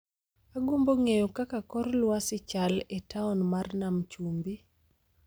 agombo ng'eyo kaka kor lwasi chal e taon mar nam chumbi